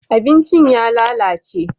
abincin ya lalace